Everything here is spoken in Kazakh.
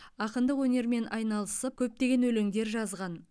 ақындық өнермен айналысып көптеген өлеңдер жазған